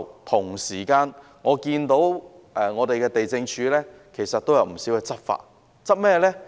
同時，我也看到地政總署其實也有不少執法行動，針對一些寮屋。